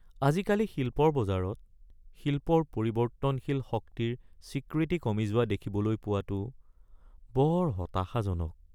আজিকালি শিল্পৰ বজাৰত শিল্পৰ পৰিৱৰ্তনশীল শক্তিৰ স্বীকৃতি কমি যোৱা দেখিবলৈ পোৱাটো বৰ হতাশাজনক।